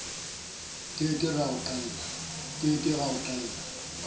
ke ke ra o qhalla